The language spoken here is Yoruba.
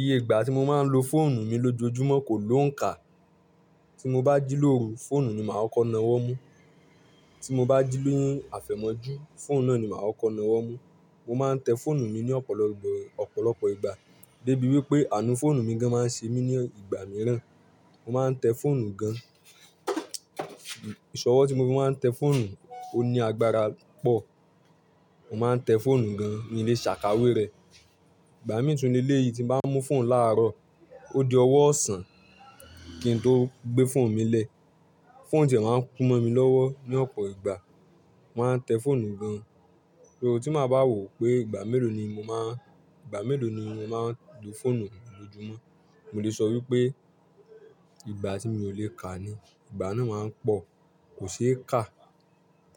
Iye ìgbà tí mo máa ń lo fóònù mi lójoojúmọ́ kò lóǹkà. Tí mo bá jí lóru, fóònù ni màá kọ́kọ́ na ọwọ mú, tí mo bá jí ni àfẹ̀mọ́jú, fóònù náà ni màá kọ́kọ́ na ọwọ mú. Mo máa ń tẹ́ fóònù mi ní ọ̀pọ̀lọpọ̀ ìgbà débi wípé àánú fóònù mi gan máa ń ṣe mí ní ìgbà mìíràn. Mo máa ń tẹ́ fóònù gan. Ìṣọ̀wọ̀ tí mo fi máa ń tẹ fóònù, ó ní agbára pọ̀. Mo máa ń tẹ́ fóònù gan mi le sàkáwé rẹ. Ìgbà mìí tun le èyii tí n bá mú fóònù làárọ̀, ó di ọwọ́ ọ̀sán kí n tó gbé fóònù mi lẹ̀. Fóònù ti e máa ń kú mọ́ mi lọ́wọ́ ní ọ̀pọ̀ ìgbà. Mo máa ń tẹ́ fóònù gan. So, tí mo bá wò pé ìgbà mélòó ni mo máa ń lo fóònù lójúmọ́, mo lè sọ wípé ìgbà tí mi ò lè kà á ni. Ìgbà náà máa ń pọ̀, kò ṣe é kà,